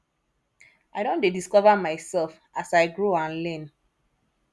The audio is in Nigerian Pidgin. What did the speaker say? i don dey discover myself as i grow and learn